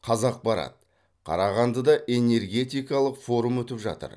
қазақпарат қарағандыда энергетикалық форум өтіп жатыр